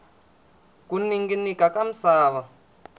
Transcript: ku ninginika ka misava